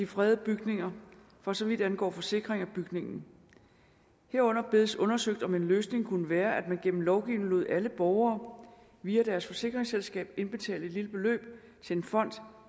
fredede bygninger for så vidt angår forsikring af bygningen herunder bedes undersøgt om en løsning kunne være at man gennem lovgivning lod alle borgere via deres forsikringsselskab indbetale et lille beløb til en fond